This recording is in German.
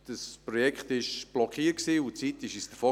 Das Projekt war blockiert und die Zeit lief uns davon.